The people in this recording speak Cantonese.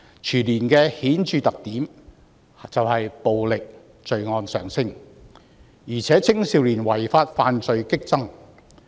全年的顯著特點就是暴力罪案上升，而且青少年違法犯罪激增。